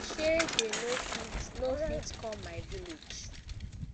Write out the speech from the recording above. shey dey no fit no fit come my village